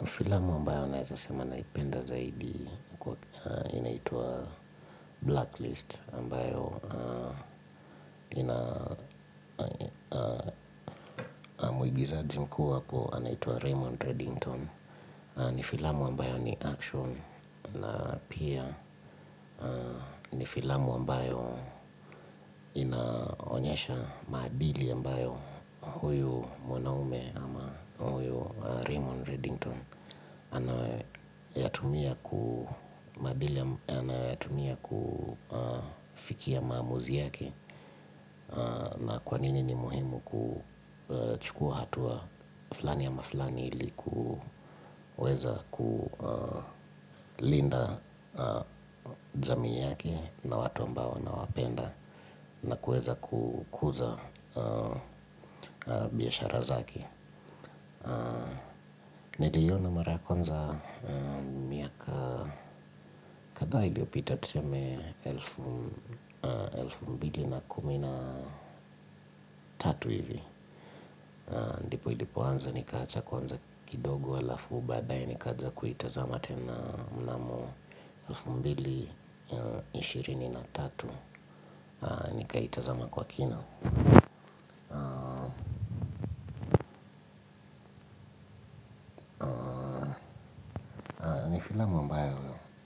Ni filamu ambayo naeza sema naipenda zaidi, inaitwa Blacklist, ambayo ina mwigizaji mkuu apo, anaitwa Raymond Reddington. Ni filamu ambayo ni Action na pia, ni filamu ambayo inaonyesha maadili ambayo huyu mwanaume ama huyu Raymond Reddington. Anayoyatumia kufikia maamuzi yake. Na kwa nini ni muhimu kuchukua hatua fulani ama fulani ili kuweza kulinda jamii yake na watu ambao anawapenda. Na kuweza kukuza biashara zake. Niliiona mara ya kwanza miaka kadhaa iliyopita tuseme elfu mbili na kumi na tatu hivi. Ndipo ilipanza nikaacha kwanza kidogo alafu baadaye nikaja kuitazama tena mnamo. elfu mbili na ishirini na tatu nikaitazama kwa kina. Filamu ambayo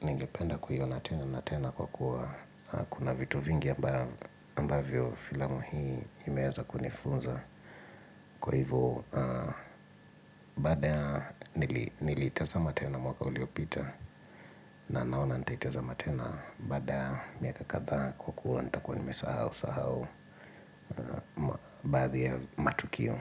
ningependa kuiona tena na tena kwa kuwa. Kuna vitu vingi ambavyo filamu hii imeeza kunifunza. Kwa hivyo baada ya niliitazama tena mwaka uliopita. Na naona nitaitazama tena baada ya miaka kadhaa kwa kuwa nitakuwa nimesahausahau. Baadhi ya matukio.